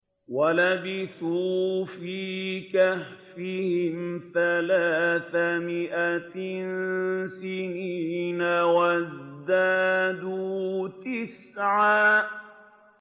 وَلَبِثُوا فِي كَهْفِهِمْ ثَلَاثَ مِائَةٍ سِنِينَ وَازْدَادُوا تِسْعًا